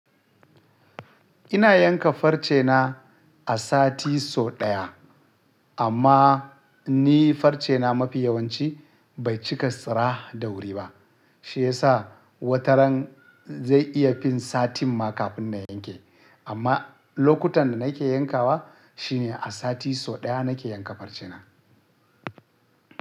Ina yanka farce na a sati so ɗaya, amma ni farce na mafi yawanci bai cika tsira da wuri ba, shi ya sa wataran zai iya fin satin ma kafin na yanke. Amma lokutan da nake yankawa shi ne a sati so ɗaya nake yanka farce na.